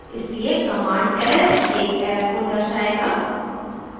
इसलिए command ls एक error को दर्शाएगा